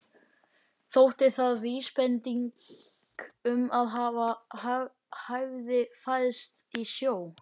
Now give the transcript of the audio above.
Þótti það vísbending um að hann hefði fæðst í sjó.